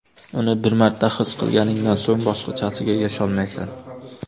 Uni bir marta his qilganingdan so‘ng, boshqachasiga yasholmaysan.